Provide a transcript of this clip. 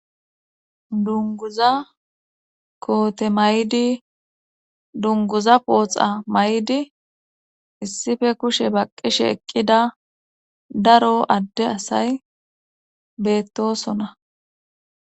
Dunguza koote maydi dunguza pooxa may'di issife kushe baqqishe eqqida daro adde asay beettosona.